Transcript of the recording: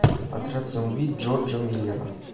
отряд самоубийц джорджа миллера